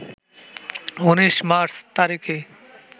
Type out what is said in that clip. ১৯ March তারিখেই